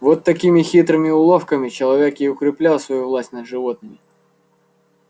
вот такими хитрыми уловками человек и укреплял свою власть над животными